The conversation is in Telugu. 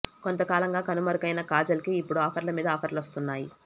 కొంతకాలంగా కనుమరుగైన కాజల్ కి ఇప్పుడు ఆఫర్ల మీద ఆఫర్లు వస్తున్నాయి